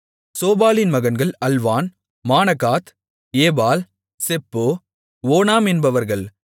சோபாலின் மகன்கள் Alvan Manahath Ebal Shepho Onam என்பவர்கள்